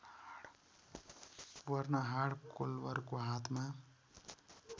Bernhard कोल्भरको हातमा